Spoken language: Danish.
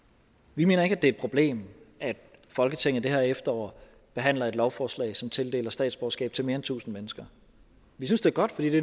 vi mener ikke at det er et problem at folketinget det her efterår behandler et lovforslag som tildeler statsborgerskab til mere end tusind mennesker vi synes det er godt fordi det